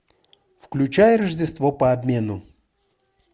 включай рождество по обмену